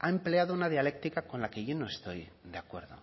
ha empleado una dialéctica con la que yo no estoy de acuerdo